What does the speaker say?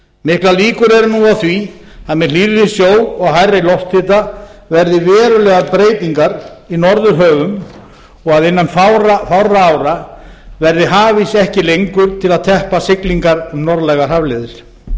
miklar líkur eru nú á því að með hlýrri sjó og hærri lofthita verði verulegar breytingar í norðurhöfum og að innan fárra ára verði hafís ekki lengur til að teppa siglingar um norðlægar hafleiðir